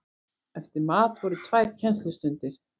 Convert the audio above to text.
Eftir mat voru tvær kennslustundir.